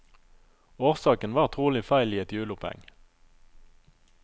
Årsaken var trolig feil i et hjuloppheng.